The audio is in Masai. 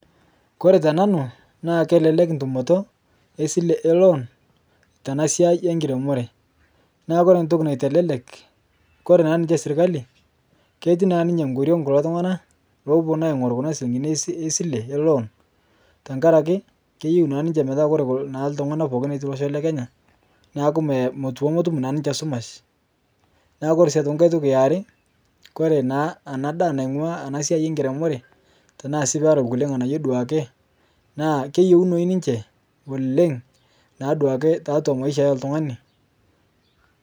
Kore tananu naa kelelek ntumoto esile loon tana siai enkiremore naa kore ntoki naitelelek kore naa ninye sirikali ketii naa ninye nkoriong kulo tungana apuno ainguru kuna silingini esile loon tankaraki keyeu naa niche petaa kore ltungana pooki lotii losho lekenya naaku metum naa ninche sumash ,Kore sii aitoki nkae toki aare Kore naa ana ndaa naingua nkiremore tanasi pera kule nganayuo duake naa keyeunoi ninche oleng naaduake tatua maisha eltungani